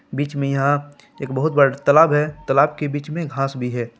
बीच में यहां एक बहुत बड़ा तालाब है तालाब के बीच में घास भी है।